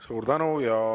Suur tänu!